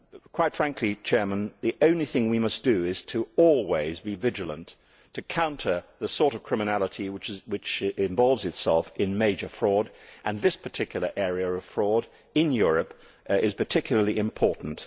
Quite frankly, the only thing we must do is to always be vigilant to counter the sort of criminality which involves itself in major fraud. This particular area of fraud in Europe is particularly important.